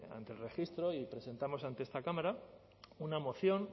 ante el registro y presentamos ante esta cámara una moción